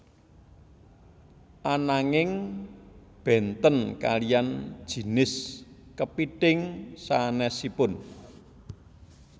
Ananging bénten kaliyan jinis kepithing sanésipun